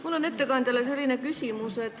Mul on ettekandjale selline küsimus.